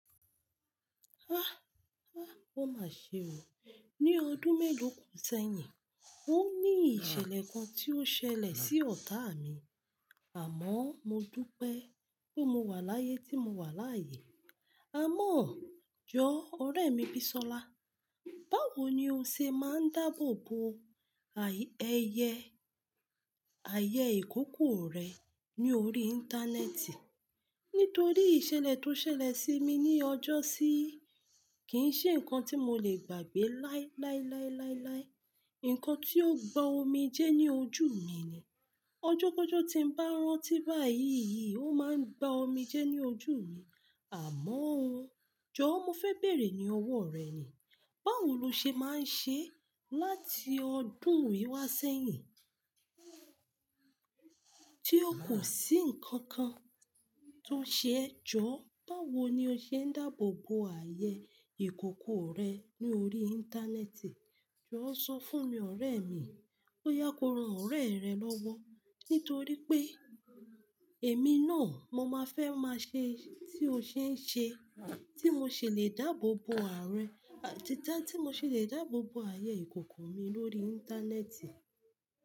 Ah, ah, ó máa ṣe o. Ni ọdún mélòó kò sẹ́yìn, ó ní ìṣẹ̀lẹ̀ kan tí ó ṣẹlẹ̀ sí ọ̀tá mi, àmọ́ mo dúpẹ́ pé mo wà láyé tí mo wà láyé. Àmọ́ jọ́ ọ̀rẹ́ mi Bisola, báwo ni o ṣe máa ń dáàbò bo ayẹyẹ ayẹ ìkòkò rẹ ní orí Íńtánẹ́ẹ̀tì? Nítorí ìṣẹ̀lẹ̀ tó ṣẹlẹ̀ sí mi ní ọjọ́sí kì í ṣe nǹkan tí mo lè gbàgbé láí láí láí láí láí. Ǹkan tí ó gba omi jẹ́ ní ojú mi ni. Òjòkòjò tí ń bá rántí báyìí yìí ó máa ń gba omi jẹ́ ní ojú mi. Àmọ́ jọ̀ọ́ mo fẹ́ bèèrè ní ọwọ́ rẹ ni, báwo lo ṣe máa ń ṣe láti ọdún yìí wá sẹ́yìn tí ó kò sí ǹkan kan tó ṣe ẹ. Jọ̀ọ́ báwo ni o ṣe ń dáàbò bo ayẹyẹ ìkòkò rẹ ní orí Íńtánẹ́ẹ̀tì? Jọ̀ọ́ sọ fún mi ọ̀rẹ́ mi, bóyá kòró ọ̀rẹ́ rẹ lọ́wọ́. Nítorí pé èmi náà mo máa fẹ́ máa ṣe tí o ṣe ń ṣe, tí mo sì lè dáàbò bo ààrẹ, títa tí mo sì lè dáàbò bo ayẹyẹ ìkòkò mi lórí Íńtánẹ́ẹ̀tì.